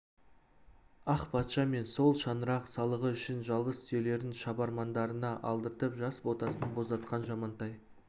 ақ патша мен сол шаңырақ салығы үшін жалғыз түйелерін шабармандарына алдыртып жас ботасын боздатқан жамантай